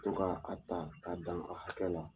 To ka a ta k'a dan a hakɛ la.